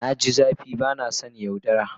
Na ji zafi ba na son yaudara.